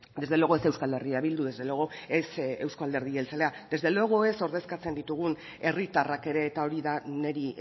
desde luego ez euskal herria bildu desde luego ez euzko alderdi jeltzalea desde luego ez ordezkatzen ditugun herritarrak ere eta hori da niri